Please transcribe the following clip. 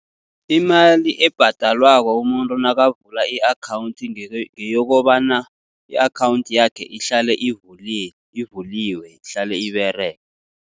Imali ebhadalwako umuntu nakavula i-akhawunthi, ngeyokobana i-akhawunthi yakhe ihlale ivuliwe, ihlale iberega.